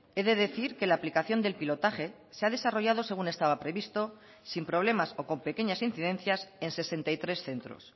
he de decir que la aplicación del pilotaje se ha desarrollado según estaba previsto sin problemas o con pequeñas incidencias en sesenta y tres centros